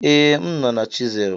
Ee, m nọ na chisel.